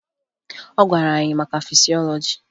Ọ gwara anyị maka fisiọlọji